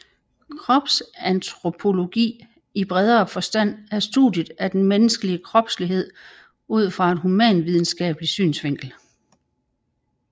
Kropsantropologi i bredere forstand er studiet af den menneskelige kropslighed ud fra et humanvidenskabelig synsvinkel